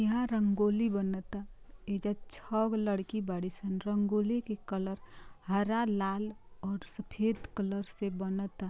यह रंगोली बनता ये जा छागो लड़की बड़ी सन| रंगोली के कलर हरा लाल और सफेद कलर से बनता।